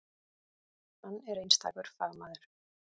Hann er einstakur fagmaður.